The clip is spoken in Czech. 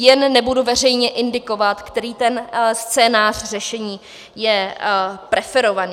Jen nebudu veřejně indikovat, který ten scénář řešení je preferovaný.